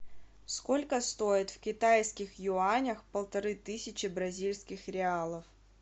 сколько стоит в китайских юанях полторы тысячи бразильских реалов